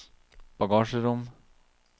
bagasjerom